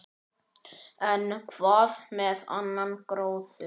En hvað með annan gróður?